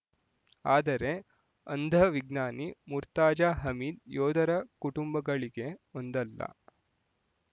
ಆದರೆ ಅಂಧ ವಿಜ್ಞಾನಿ ಮುರ್ತಾಜಾ ಹಮೀದ್ ಯೋಧರ ಕುಟುಂಬಗಳಿಗೆ ಒಂದಲ್ಲ